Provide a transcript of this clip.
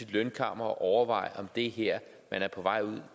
lønkammer og overveje om det her man er på vej